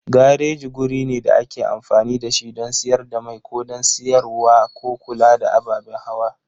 Gareji guri ne da ake amfani da shi don siyar da mai ko don siyarwa ko kula da ababen hawa.